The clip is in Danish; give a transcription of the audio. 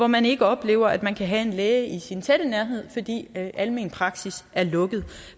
man ikke oplever at man kan have en læge i sin nærhed fordi almen praksis er lukket